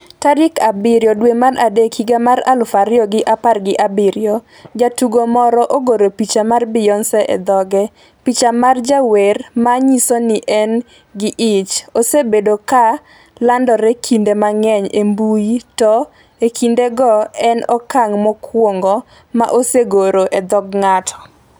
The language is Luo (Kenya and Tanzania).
tarik abiriyo dwe mar adek higa mar aluf ariyo gi apar gi abiriyo. Jatugo moro ogoro picha mar Beyonce e dhoge. Picha mar jawer ma nyiso ni en gi ich, osebedo ka landore kinde mang’eny e mbui to e kindegi, en okang’ mokwongo ma osegore e dhog ng’ato.